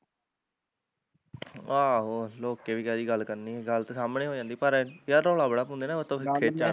ਆਹੋ ਲੁਕ ਕੇ ਵੀ ਕਾਹਦੀ ਗੱਲ ਕਰਣੀ ਗੱਲ ਤਾਂ ਸਾਹਮਣੇ ਹੋ ਜਾਂਦੀ ਪਰ ਯਾਰ ਰੌਲਾ ਬੜਾ ਪਾਉਂਦੇ ਨਾ ਤੇ ਉੱਤੋਂ ਫਿਰ ਖਿੱਚ ਚੜਦੀ